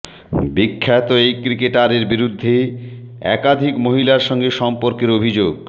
বিখ্যাত এই ক্রিকেটারের বিরুদ্ধে একাধিক মহিলার সঙ্গে সম্পর্কের অভিযোগ